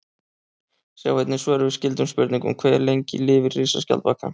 Sjá einnig svör við skyldum spurningum: Hve lengi lifir risaskjaldbakan?